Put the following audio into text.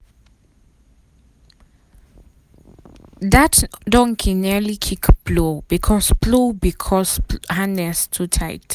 that donkey nearly kick plow because plow because harness too tight.